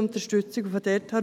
Unterstützung erst dann kommt.